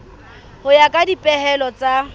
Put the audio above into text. ho ya ka dipehelo tsa